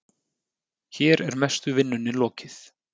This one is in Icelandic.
Hér er mestu vinnunni lokið.